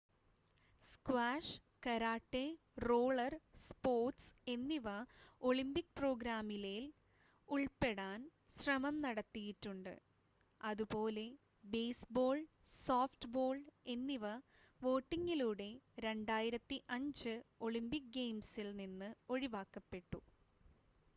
squash karate roller sports എന്നിവ Olympic പ്രോഗ്രാമിലേൽ ഉൾപ്പെടാൻ ശ്രമം നടത്തിയിട്ടുണ്ട് അതുപോലെ ബേസ്‌ബോൾ സോഫ്റ്റ്‌ബോൾ എന്നിവ വോട്ടിംഗിലൂടെ 2005 ഒളിമ്പിക് ഗെയിംസിൽ നിന്ന് ഒഴിവാക്കപ്പെട്ടു